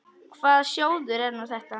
Hvaða sjóður er nú þetta?